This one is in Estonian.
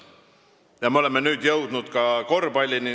Ja nüüd me oleme jõudnud korvpallini.